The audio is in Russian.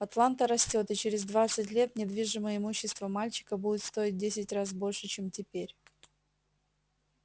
атланта растёт и через двадцать лет недвижимое имущество мальчика будет стоить в десять раз больше чем теперь